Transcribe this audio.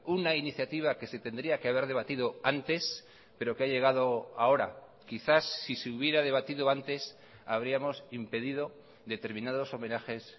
una iniciativa que se tendría que haber debatido antes pero que ha llegado ahora quizás sí se hubiera debatido antes habríamos impedido determinados homenajes